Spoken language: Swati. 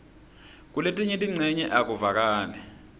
kuletinye tincenye akuvakali